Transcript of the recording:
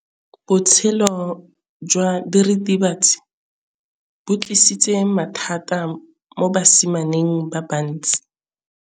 Botshelo jwa diritibatsi ke bo tlisitse mathata mo basimaneng ba bantsi.